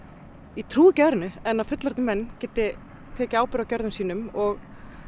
ég trúi ekki öðru en að fullorðnir menn geti tekið ábyrgð á gjörðum sínum og